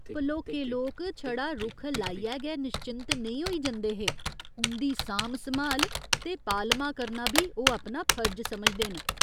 भलोके लोक छड़ा रुक्ख लाइयै गै निश्चिंत नेई होई जंदे हे, उं'दी सांभ सम्हाल ते पालमा करना बी ओह् अपना फर्ज समझदे न।